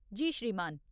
जी श्रीमान।